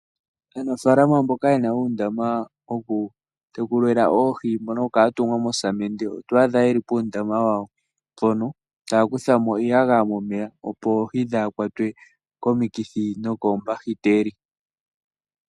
Aanafalama mbono yena uundama watungwa mosamende wokutekulila oohi oto adha yeli puundama wawo mpono taya kuthamo iiyagaya momeya, opo oohi dhaha kwatwe komikithi nokoombahiteli.